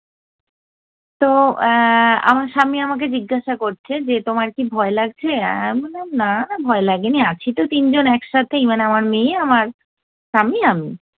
তো এ্যা আমার স্বামী আমাকে জিজ্ঞাসা করছে যে, তোমার কি ভয় লাগছে? আমি বললাম না ভয় লাগেনি আছি তো তিনজন একসাথেই, মানে আমার মেয়ে, আমার স্বামী আমি।